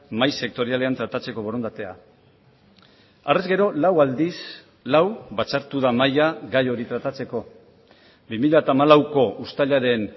mahai sektorialean tratatzeko borondatea harrez gero lau aldiz lau batzartu da mahia gai hori tratatzeko bi mila hamalauko uztailaren